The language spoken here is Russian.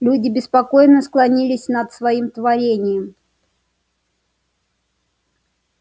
люди беспокойно склонились над своим творением